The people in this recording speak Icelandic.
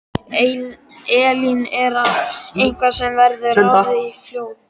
Elín: Er það eitthvað sem verður ráðist í fljótlega?